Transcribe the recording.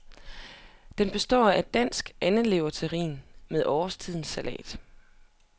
Den består af dansk andeleverterrin med årstidens salat.